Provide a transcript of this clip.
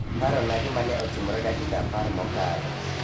Parona gima ne otimore dakika apar mokalo